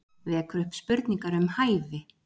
Vekur upp spurningar um hæfi